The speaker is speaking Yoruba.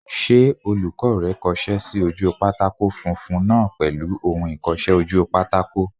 Ṣé olùkọ́ rẹ kọsẹ́ sí ojú pátákó funfun náà pèlú ohun ìkọsẹ́-ojúpátákó?